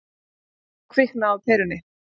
Þá kviknaði á perunni.